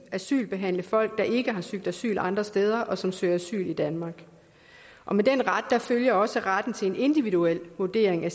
asylbehandle folk der ikke har søgt asyl andre steder og som søger asyl i danmark med den ret følger også retten til en individuel vurdering af